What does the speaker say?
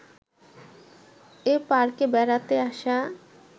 এ পার্কে বেড়াতে আসা